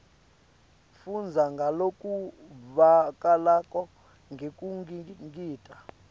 fundza ngalokuvakalako ngekungingita